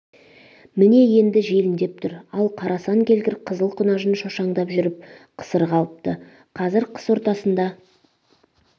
міне енді желіндеп тұр ал қарасан келгір қызыл құнажын шошаңдап жүріп қысыр қалыпты қазір қыс ортасында